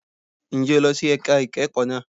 Ǹjẹ́ o lọ sí ẹ̀ka ìkẹ́kọ̀ọ́ náà?